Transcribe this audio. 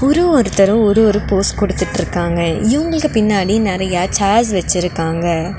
ஒரு ஒருத்தரும் ஒரு ஒரு போஸ் குடுத்துட்ருக்காங்க இவங்களுக்கு பின்னாடி நறைய சேர்ஸ் வெச்சிருக்காங்க.